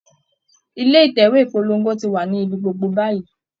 ilé Ìtẹ̀wé ìpolongo ti wà ní ibi gbogbo báyìí